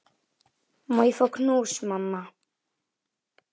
Má ég fá knús, mamma?